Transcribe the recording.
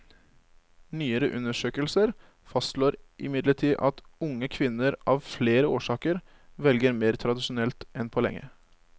Nyere undersøkelser fastslår imidlertid at unge kvinner av flere årsaker velger mer tradisjonelt enn på lenge.